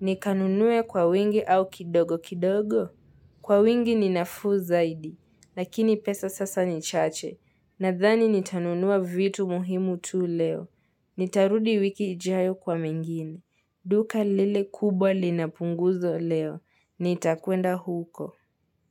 nikanunue kwa wingi au kidogo kidogo? Kwa wingi ni nafuu zaidi, lakini pesa sasa ni chache, nadhani nitanunua vitu muhimu tu leo. Nitarudi wiki ijayo kwa mengine. Duka lile kubwa lina punguzo leo. Nitakuenda huko.